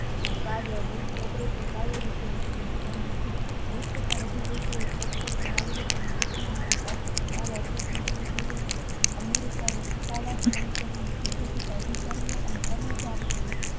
opration Kaveri શરૂ કરિયું છે વિષ કરતા વધારે દેશો એ નાગરિકો એ operation શરુ કરિયું છે america અધિકારી અને કર્મચારીઓ ને